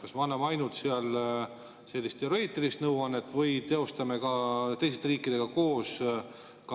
Kas me anname seal ainult sellist teoreetilist nõuannet või teostame ka teiste riikidega koos